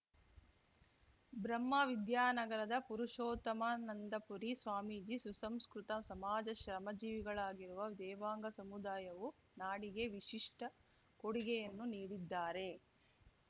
ಬ್ರಹ್ಮವಿದ್ಯಾನಗರದ ಪುರುಷೋತ್ತಮಾನಂದಪುರಿ ಸ್ವಾಮೀಜಿ ಸುಸಂಸ್ಕೃತ ಸಮಾಜ ಶ್ರಮ ಜೀವಿಗಳಾಗಿರುವ ದೇವಾಂಗ ಸಮುದಾಯವು ನಾಡಿಗೆ ವಿಶಿಷ್ಠ ಕೊಡುಗೆಯನ್ನು ನೀಡಿದ್ದಾರೆ